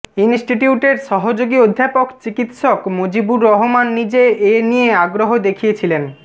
ইনস্টিটিউটের সহযোগী অধ্যাপক চিকিত্সক মজিবুর রহমান নিজে এ নিয়ে আগ্রহ দেখিয়েছিলেন